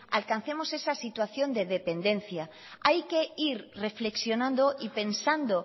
alcancemos esa situación de dependencia hay que ir reflexionando y pensando